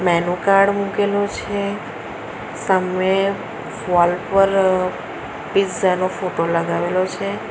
એનું કાર્ડ મુકેલુ છે સામે વોલ પર પીઝા નો ફોટો લગાવેલો છે.